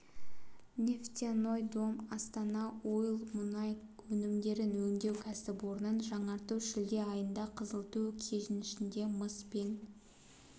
нефтяной дом астана ойл мұнай өнімдерін өңдеу кәсіпорнын жаңарту шілде айында қызылту кенішінде мыс пен